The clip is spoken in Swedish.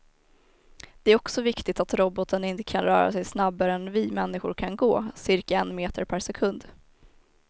Det är också viktigt att roboten inte kan röra sig snabbare än vi människor kan gå, cirka en meter per sekund.